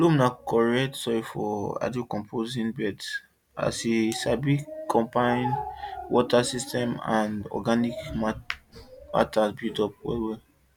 loam na correct soil for hydrocomposting beds as e sabi combine water system and organic matter buildup well well